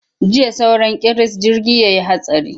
Jiya sauran kiris jirgi ya yi hatsari.